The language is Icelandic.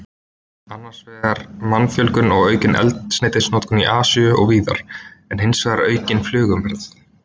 Annars vegar mannfjölgun og aukin eldsneytisnotkun í Asíu og víðar, en hins vegar aukin flugumferð.